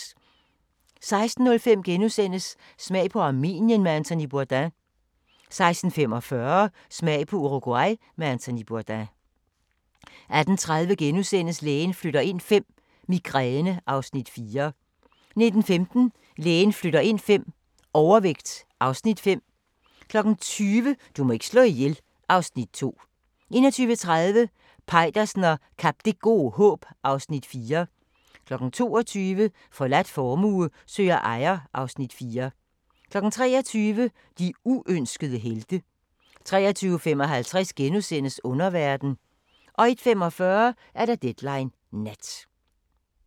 16:05: Smag på Armenien med Anthony Bourdain * 16:45: Smag på Uruguay med Anthony Bourdain 18:30: Lægen flytter ind V – Migræne (Afs. 4)* 19:15: Lægen flytter ind V – Overvægt (Afs. 5) 20:00: Du må ikke slå ihjel (Afs. 2) 21:30: Peitersen og Kap Det Gode Håb (Afs. 4) 22:00: Forladt formue søger ejer (Afs. 4) 23:00: De uønskede helte 23:55: Underverden * 01:45: Deadline Nat